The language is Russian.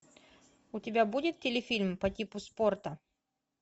у тебя будет телефильм по типу спорта